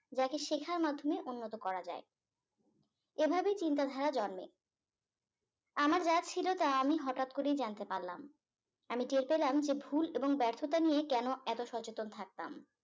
যাকে শেখার মাধ্যমে উন্নত করা যায় এভাবে চিন্তাধারা জন্মে আমার যা ছিল তা আমি হঠাৎ করেই জানতে পারলাম আমি টের পেলাম যে ভুল এবং ব্যর্থতা নিয়ে কেন এত সচেতন থাকতাম